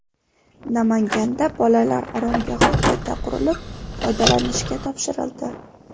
Namanganda bolalar oromgohi qayta qurilib, foydalanishga topshirildi.